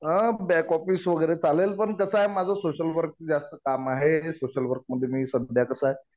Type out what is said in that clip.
हा back office वगैरे चालेल. पण कसं आहे माझं सोशल वर्कच जास्त काम आहे. हे सोशल वर्क मध्ये मी हे सध्या कसं आहे